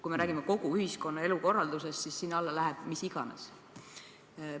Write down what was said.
Kui me räägime kogu ühiskonna elukorraldusest, siis sinna alla läheb mis iganes.